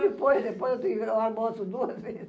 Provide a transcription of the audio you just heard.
Depois, depois eu tenho que almoço duas vezes.